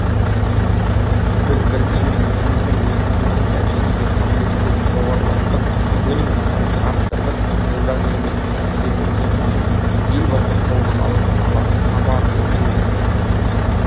біз біріншіден өзіміздің өніміміздің бәсекеге қабілеттілігін жоғарылаттық өнім сапасын арттырдық жылдағы еңбектің нәтижесін жемісін елбасы қолынан алған алтын сапа арқылы сезіндік